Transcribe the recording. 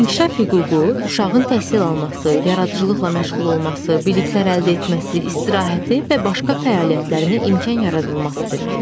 İnkişaf hüququ uşağın təhsil alması, yaradıcılıqla məşğul olması, biliklər əldə etməsi, istirahəti və başqa fəaliyyətlərinə imkan yaradılması deməkdir.